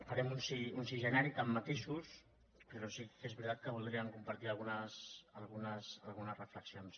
farem un sí ge·nèric amb matisos però sí que és veritat que voldríem compartir algunes reflexions